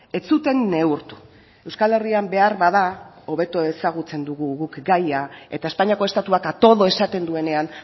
ez zuten neurtu euskal herrian beharbada hobeto ezagutzen dugu guk gaia eta espainiako estatuak a todo esaten duenean